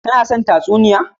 Ka no son tatsuniya?